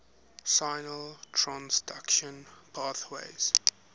signal transduction pathways